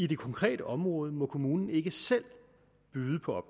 det konkrete område må kommunen ikke selv byde på